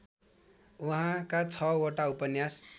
उहाँका ६ वटा उपन्यास